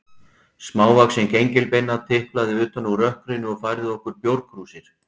Smávaxin gengilbeina tiplaði utan úr rökkrinu og færði okkur bjórkrúsir.